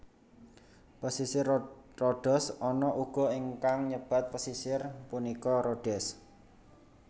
Pesisir Rodos ana uga ingkang nyebat pesisir punika Rhodes